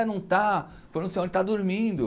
É, não tá, foi não sei onde, tá dormindo.